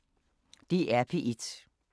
DR P1